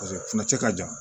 Paseke funnacɛ ka jan